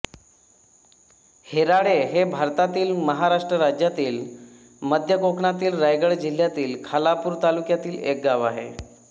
होराळे हे भारतातील महाराष्ट्र राज्यातील मध्य कोकणातील रायगड जिल्ह्यातील खालापूर तालुक्यातील एक गाव आहे